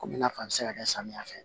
Komi i n'a fɔ a bɛ se ka kɛ samiya fɛ